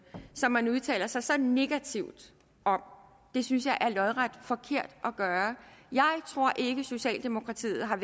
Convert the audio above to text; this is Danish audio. som man udtaler sig så negativt om det synes jeg er lodret forkert at gøre jeg tror ikke socialdemokratiet har